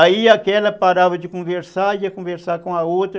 Aí aquela parava de conversar, ia conversar com a outra.